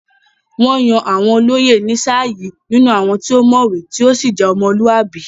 Wọ́n yàn àwọn olóyè ní sáà yìí nínú àwọn tí ó mọ̀wé tí ó sì je ọmọlúwàbí.